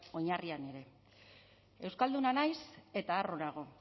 oinarrian ere euskalduna naiz eta harro nago